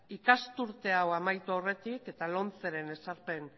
ikasturte hau amaitu aurretik eta lomceren ezarpen